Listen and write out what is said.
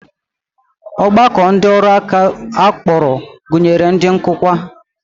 Ọgbakọ ndị ọrụ aka a kpọrọ gụnyere ndị nkụkwa